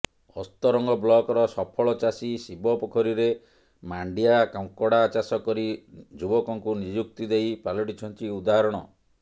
ଅସ୍ତରଙ୍ଗ ବ୍ଲକର ସଫଳ ଚାଷୀ ଶିବ ପୋଖରୀରେ ମାଣ୍ଡିଆ କଙ୍କଡା ଚାଷ କରି ଯୁବକଙ୍କୁ ନିଯୁକ୍ତି ଦେଇ ପାଲଟିଛନ୍ତି ଉଦାହରଣ